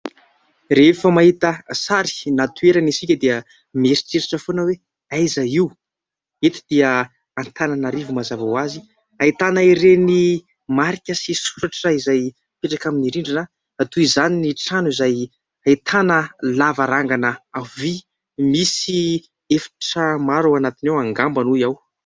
rehefa mahita sary na toerana isika dia mieritreritra foana hoe aiza io, eto dia antananarivo ;mazava ho azy ,ahitana ireny marika sy soratra izay mipetaka amin'ny rindrina toy izany ny trano izay ahitana lavarangana vy, misy efitra maro ao anatiny ao angamba hoy aho